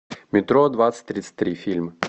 метро двадцать тридцать три фильм